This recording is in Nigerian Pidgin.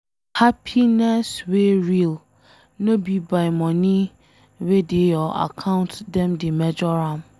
Happiness wey real, no be by money wey dey your account dem dey measure am.